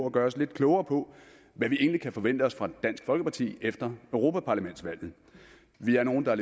at gøre os lidt klogere på hvad vi egentlig kan forvente os af dansk folkeparti efter europaparlamentsvalget vi er nogle der